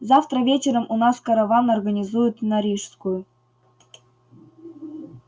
завтра вечером у нас караван организуют на рижскую